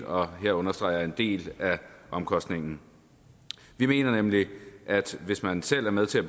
og jeg understreger er en del af omkostningen vi mener nemlig at hvis man selv er med til at